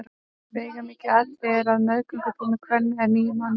Veigamikið atriði er að meðgöngutími kvenna er níu mánuðir.